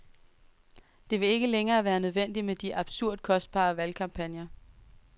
Det vil ikke længere være nødvendigt med de absurd kostbare valgkampagner.